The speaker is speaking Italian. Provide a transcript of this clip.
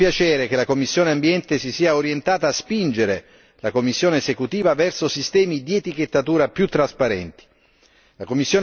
Accogliamo ora con piacere che la commissione per l'ambiente si sia orientata a spingere la Commissione esecutiva verso sistemi di etichettatura più trasparenti.